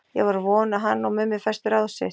Ég var að vona að hann og Mummi festu ráð sitt.